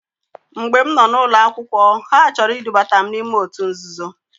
Mgbe m noo n'ụlọ akwụkwọ ha chọrọ idubata m n'ime otu nzuzo.